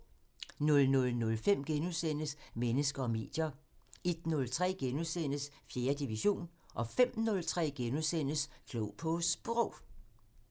00:05: Mennesker og medier * 01:03: 4. division * 05:03: Klog på Sprog *